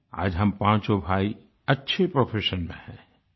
आज हम पाँचों भाई अच्छे प्रोफेशन में हैं